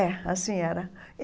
É, assim era.